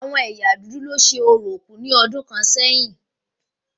Àwọn ẹ̀yà dúdú lo ṣe orò òkú ní ọdún kàn sẹ́yìn